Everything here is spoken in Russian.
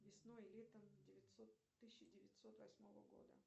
весной и летом тысяча девятьсот восьмого года